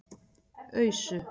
Ausu